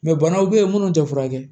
banaw bɛ yen minnu tɛ furakɛ